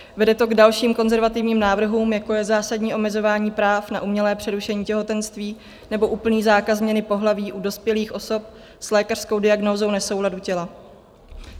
Vede to k dalším konzervativním návrhům, jako je zásadní omezování práv na umělé přerušení těhotenství nebo úplný zákaz změny pohlaví u dospělých osob s lékařskou diagnózou nesouladu těla.